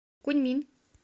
куньмин